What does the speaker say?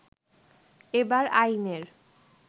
এবার আইনের